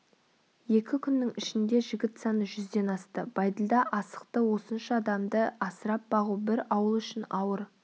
екі күннің ішінде жігіт саны жүзден асты бәйділда асықты осынша адамды асырап-бағу бір ауыл үшін ауыр